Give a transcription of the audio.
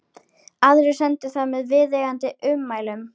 Aðrir sendu það með viðeigandi ummælum.